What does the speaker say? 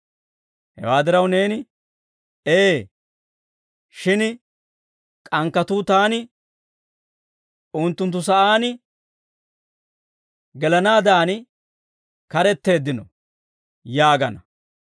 Hewaa diraw neeni, «Ee; shin k'ankkatuu taani unttunttu sa'aan gelanaaddan karetteeddino» yaagana.